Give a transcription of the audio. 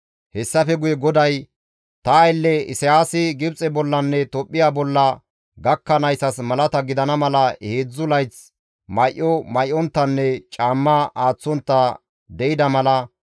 Hessafe GODAY, «Ta aylle Isayaasi Gibxe bollanne Tophphiya bolla gakkanayssas malata gidana mala heedzdzu layth may7o may7onttanne caamma aaththontta de7ida mala,